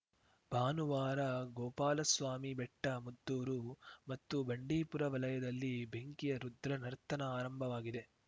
ಭಾನುವಾರ ಗೋಪಾಲಸ್ವಾಮಿ ಬೆಟ್ಟ ಮದ್ದೂರು ಮತ್ತು ಬಂಡೀಪುರ ವಲಯದಲ್ಲಿ ಬೆಂಕಿಯ ರುದ್ರನರ್ತನ ಆರಂಭವಾಗಿದೆ